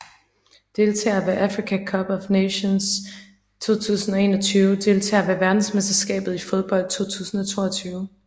Deltagere ved Africa Cup of Nations 2021 Deltagere ved verdensmesterskabet i fodbold 2022